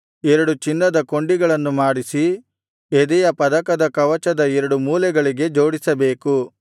ಎರಡು ಚಿನ್ನದ ಕೊಂಡಿಗಳನ್ನು ಮಾಡಿಸಿ ಎದೆಯ ಪದಕದ ಕವಚದ ಎರಡು ಮೂಲೆಗಳಿಗೆ ಜೋಡಿಸಬೇಕು